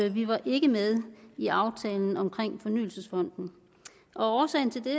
vi var ikke med i aftalen om fornyelsesfonden årsagen til det